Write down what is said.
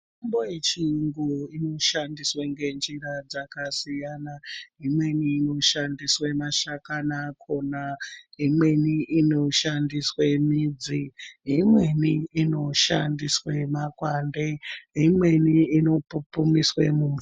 Mitombo yechiyungu inoshandiswe ngenjira dzakasiyana, imweni inoshandiswa mashakani akona, imweni inoshandiswe midzi, imweni inoshandiswe makwande, imweni inopupumiswe mumvura.